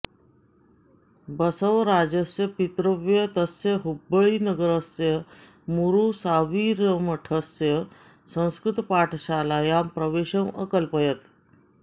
बसवराजस्य पितृव्यः तस्य हुब्बळ्ळिनगरस्य मूरुसाविरमठस्य संस्कृतपाठशालायां प्रवेशम् अकल्पयत्